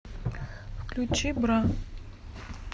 включи бра